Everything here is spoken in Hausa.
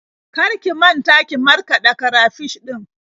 Kar ki manta ki markaɗa karafish ɗin.